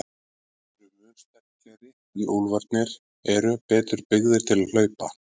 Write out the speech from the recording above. Hundarnir eru mun sterklegri en úlfarnir eru betur byggðir til hlaupa.